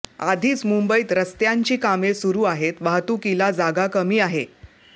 आधीच मुंबईत रस्त्यांची कामे सुरू आहेत वाहतुकीला जागा कमी आहे